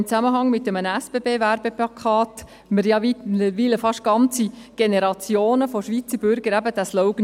Im Zusammenhang mit einem SBB-Plakat kennen mittlerweile fast ganze Generationen von Schweizer Bürgern diesen Slogan.